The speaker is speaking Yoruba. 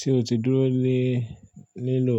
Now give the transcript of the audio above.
Ṣé o ti dúró lé lílò